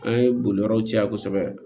An ye boli yɔrɔw caya kosɛbɛ